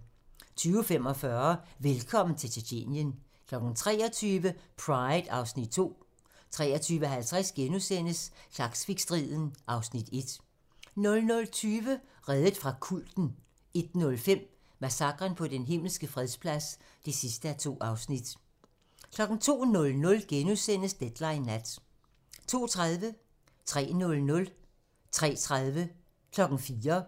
20:45: Velkommen til Tjetjenien 23:00: Pride (Afs. 2) 23:50: Klaksvikstriden (Afs. 1)* 00:20: Reddet fra kulten 01:05: Massakren på Den Himmelske Fredsplads (2:2) 02:00: Deadline Nat * 02:30: Deadline 03:00: Deadline 03:30: Deadline 04:00: Deadline